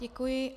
Děkuji.